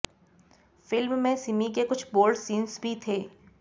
film में सिमी के कुछ बोल्ड सीन्स भी थे